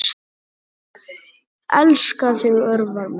Elska þig, Örvar minn.